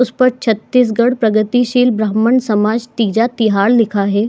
उस ऊपर छतीसगढ़ पररगति सील ब्रामण समाज तीजा तिहार लिखा है।